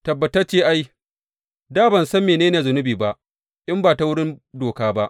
Tabbatacce ai, da ban san mene ne zunubi ba in ba ta wurin doka ba.